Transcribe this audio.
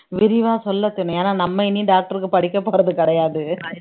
விரிவா சொல்ல தெரியும் ஏன்னா நம்ம இனி doctor க்கு படிக்கப் போறது கிடையாது